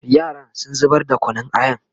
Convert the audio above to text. yaran sun zubar da Kunun ayan